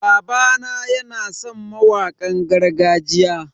Babana yana san mawakan gargajiya.